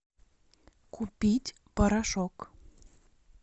купить порошок